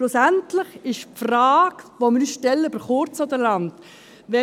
Schlussendlich lautet die Frage, die wir uns über kurz oder lang stellen: